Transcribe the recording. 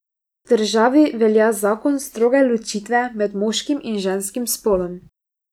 V državi velja zakon stroge ločitve med moškim in ženskim spolom.